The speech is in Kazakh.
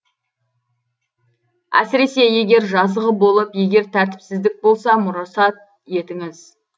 әсіресе егер жазығы болып егер тәртіпсіздік болса мұрсат етіңіз